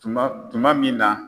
Tuma tuma min na